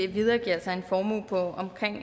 videregiver en formue på omkring